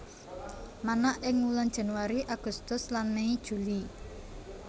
Manak ing wulan Januari Agustus lan Mei Juli